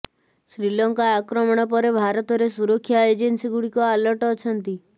ଶ୍ରୀଲଙ୍କା ଆକ୍ରମଣ ପରେ ଭାରତରେ ସୁରକ୍ଷା ଏଜେନ୍ସି ଗୁଡ଼ିକ ଆଲର୍ଟ ଅଛନ୍ତି